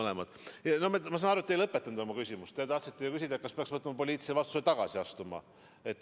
Ma saan aru, et te ei lõpetanud oma küsimust, te tahtsite ju küsida, kas minister peaks võtma poliitilise vastutuse ja tagasi astuma.